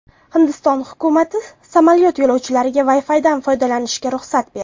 Hindiston hukumati samolyot yo‘lovchilariga Wi-Fi’dan foydalanishga ruxsat berdi.